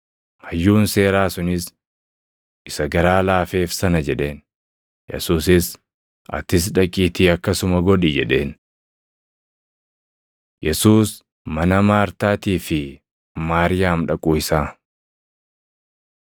Hayyuun seeraa sunis, “Isa garaa laafeef sana” jedheen. Yesuusis, “Atis dhaqiitii akkasuma godhi” jedheen. Yesuus mana Maartaatii fi Maariyaam Dhaquu Isaa